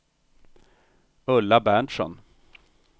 Ulla Berntsson